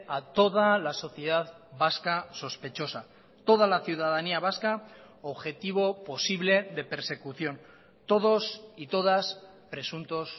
a toda la sociedad vasca sospechosa toda la ciudadanía vasca objetivo posible de persecución todos y todas presuntos